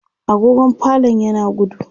agogon falon yana gudu